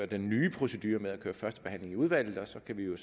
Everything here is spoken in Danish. den nye procedure med at have første behandling i udvalget og så kan vi jo